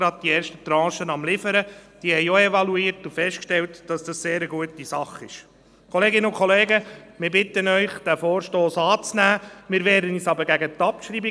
Aber die SVP-Fraktion ist mehrheitlich für Annahme bei gleichzeitiger Abschreibung.